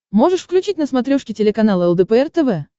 можешь включить на смотрешке телеканал лдпр тв